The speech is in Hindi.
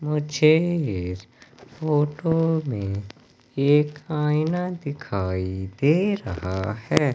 मुझे इस फोटो में एक आईना दिखाई दे रहा है।